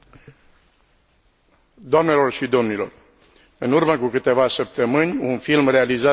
În urmă cu câteva săptămâni, un film realizat cu camera ascunsă a făcut înconjurul lumii.